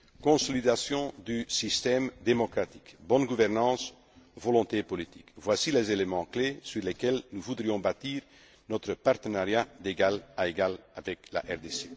Consolidation du système démocratique, bonne gouvernance, volonté politique voici les éléments clés sur lesquels nous voudrions bâtir notre partenariat d'égal à égal avec la RDC.